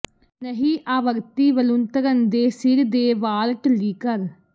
ਨਹੀ ਆਵਰਤੀ ਵਲੂੰਧਰਨ ਦੇ ਸਿਰ ਦੇ ਵਾਲ ਢਿੱਲੀ ਕਰ